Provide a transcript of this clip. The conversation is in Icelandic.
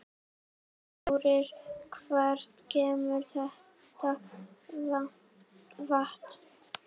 Þórir: Hvaðan kemur þetta vatn?